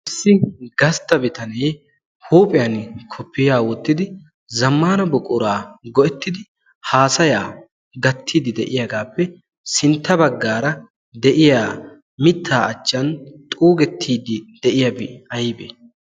Issi gastta bitanee huuphiyan qobbiyaa wottidi zammana buquraa go7ettidi haasayaa gattiiddi de7iyaagaappe sintta baggaara de7iya mittaa achchan xuugettiiddi de7iyaabay aybbe?